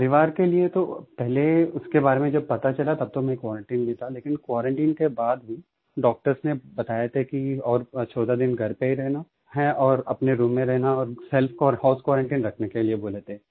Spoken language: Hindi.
परिवार के लिये तो पहले उसके बारे में जब पता चला तब तो मैं क्वारंटाइन में था लेकिन क्वारंटाइन के बाद भी डॉक्टर्स ने बताया था कि और 14 दिन घर पे ही रहना है और अपने रूम में रहना और सेल्फ को हाउस क्वारंटाइन रखने के लिए बोले थे